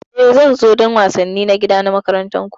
E, zan zo don wasanni na gida na makarantar ku.